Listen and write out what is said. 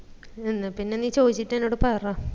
എന്നാ പിന്ന നീ ചോയിച്ചിട്ട് എന്നോട് പറ